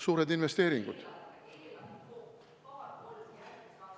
Suured investeeringud.